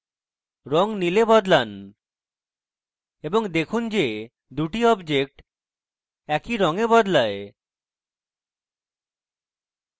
রঙ নীলে বদলান এবং দেখুন যে দুটি objects একই রঙে বদলায়